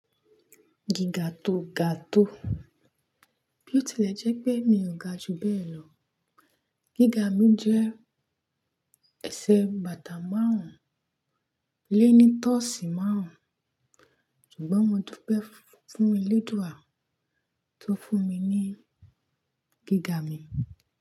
Gíga to ga to. Bí o tilẹ̀ jẹ́ pé mi ò ga ju bẹ́ẹ̀ lọ. Gíga mi jẹ́ ẹsẹ̀ bàtà márùn-ún lé ní tọ̀ọ̀sì márùn-ún, ṣùgbọ́n mo dúpẹ́ fún Elédùà tó fún mi ní gíga mi.